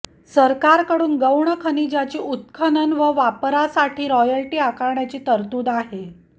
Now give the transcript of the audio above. सरकारकडून गौणखनिजाची उत्खनन व वापरासाठी रॉयल्टी आकारण्याची तरतूद आहे